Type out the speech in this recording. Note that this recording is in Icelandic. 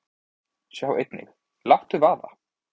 Sjá einnig: Láttu vaða!